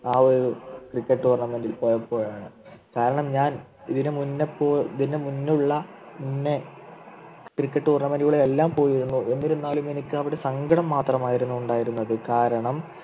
ആ ഒരു Cricket tournament ൽ പോയപ്പോഴാണ് കാരണം ഞാൻ ഇതിനു മുന്നേ പോ ഇതിനു മുന്നേയുള്ള മുന്നേ Cricket tournament കളിലെല്ലാം പോയിരുന്നു എന്നിരുന്നാലും എനിക്ക് അവിടെ സങ്കടം മാത്രമായിരുന്നു ഉണ്ടായിരുന്നത് കാരണം